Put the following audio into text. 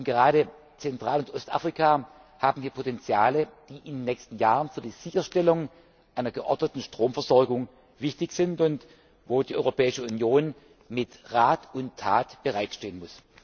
Gerade Zentral und Ostafrika haben hier Potenziale, die in den nächsten Jahren für die Sicherstellung einer geordneten Stromversorgung wichtig sind und wo die Europäische Union mit Rat und Tat bereitstehen muss.